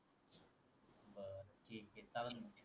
कारण भेते